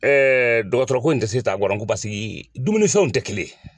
dɔgɔtɔrɔ ko in tɛ se taa an paseke dumuni fɛnw tɛ kelen